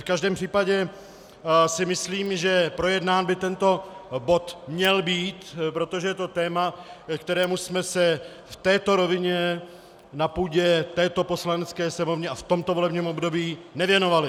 V každém případě si myslím, že projednán by tento bod měl být, protože je to téma, kterému jsme se v této rovině na půdě této Poslanecké sněmovny a v tomto volebním období nevěnovali.